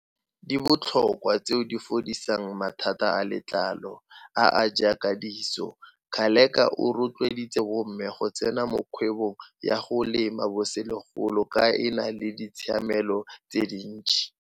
di botlhokwa tseo di fodisang mathata a letlalo a a jaaka diso. Ngaleka o rotloeditse bomme go tsena mo kgwebong ya go lema bogolosegolo ka e na le ditshiamelo tse dintsi.